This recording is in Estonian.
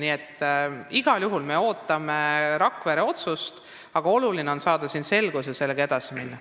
Nii et igal juhul me ootame Rakvere otsust, aga oluline on saada selgus ja edasi minna.